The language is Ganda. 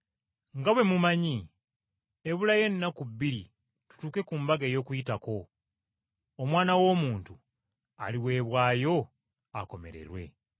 “Nga bwe mumanyi, ebulayo ennaku bbiri tutuuke ku mbaga ey’Okuyitako. Omwana w’Omuntu aliweebwayo akomererwe.”